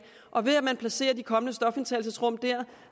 man placerer de kommende stofindtagelsesrum der